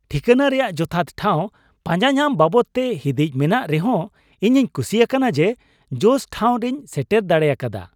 ᱴᱷᱤᱠᱟᱹᱱᱟ ᱨᱮᱭᱟᱜ ᱡᱚᱛᱷᱟᱛ ᱴᱷᱟᱶ ᱯᱟᱸᱡᱟᱧᱟᱢ ᱵᱟᱵᱚᱫ ᱛᱮ ᱦᱤᱸᱫᱤᱡ ᱢᱮᱱᱟᱜ ᱨᱮᱦᱚ, ᱤᱧᱤᱧ ᱠᱩᱥᱤ ᱟᱠᱟᱱᱟ ᱡᱮ ᱡᱚᱥ ᱴᱷᱟᱶ ᱨᱮᱧ ᱥᱮᱴᱮᱨ ᱰᱟᱲᱮ ᱟᱠᱟᱫᱟ ᱾